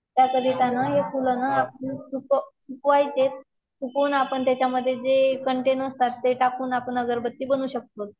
ते फुल ना आपण सुक सुकवायचे, सुकवून त्याच्यामध्ये आपण जे कन्टेन्ट असतात ते टाकून आपण अगरबत्ती बनवू शकतो.